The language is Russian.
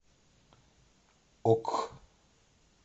ок